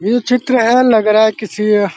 ये चित्र है लग रहा है किसी अ --